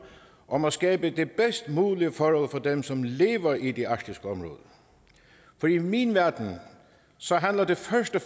om at skabe de bedst mulige forhold for dem som lever i det arktiske område for i min verden handler det først og